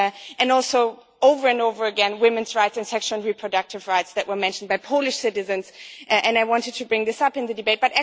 and also over and over again women's rights and sexual and reproductive rights were mentioned by Polish citizens, and I wanted to bring this up in the debate.